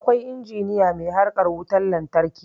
Akwai injiniya mai harkar wutan lantraki